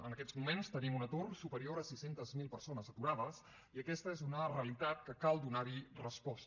en aquests moments tenim un atur superior a sis cents miler persones aturades i aquesta és una realitat que cal donar hi resposta